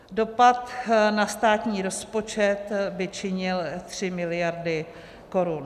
Dopad na státní rozpočet by činil 3 miliardy korun.